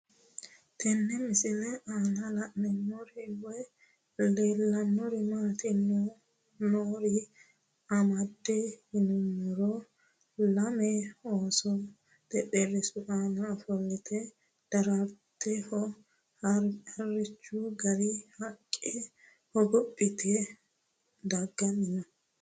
Tenne misilenni la'nanniri woy leellannori maattiya noori amadde yinummoro lame ooso xexxerisu aanna ofollitte daratteho harichchu gaare haqqe hogophphitte daganni noo